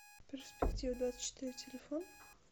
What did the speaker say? перспективадвадцатьчетыре телефон